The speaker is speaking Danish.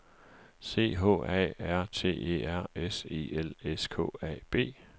C H A R T E R S E L S K A B